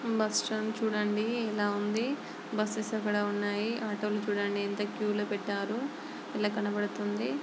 Buses చూడండి ఎలా ఉంది. బస్సెస్ అక్కడ ఉన్నాయి. ఆటో లు కూడా ఎంత క్యూ లో పెట్టారో . ఇలా కనబడుతుంది.